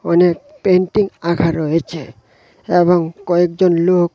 অনেক পেন্টিং আঁকা রয়েছে এবং কয়েকজন লোক--